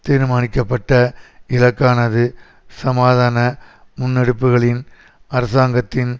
தீர்மானிக்கப்பட்ட இலக்கானது சமாதான முன்னெடுப்புகளின் அரசாங்கத்தின்